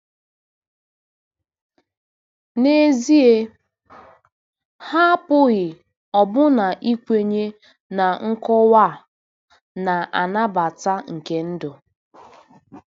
N'ezie, ha apụghị ọbụna ikwenye na nkọwa a na-anabata nke ndụ.